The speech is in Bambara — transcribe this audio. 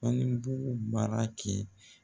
Baŋebugu mara kɛ